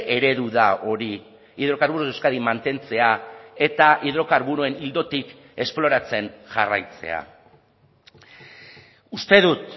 eredu da hori hidrocarburos de euskadi mantentzea eta hidrokarburoen ildotik esploratzen jarraitzea uste dut